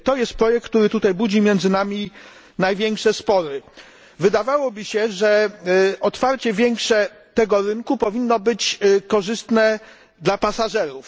To jest projekt, który tutaj budzi między nami największe spory. Wydawałoby się, że większe otwarcie tego rynku powinno być korzystne dla pasażerów.